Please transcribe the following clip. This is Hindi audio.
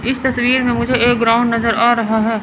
इस तस्वीर में मुझे एक ग्राउंड नजर आ रहा है।